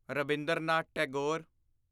Rabindranath Tagore